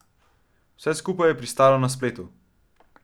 Vse skupaj je pristalo na spletu.